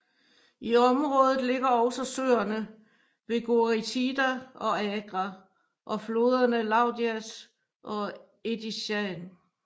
I området ligger også søerne Vegoritida og Agra og floderne Loudias og Edessian